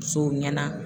Musow ɲɛna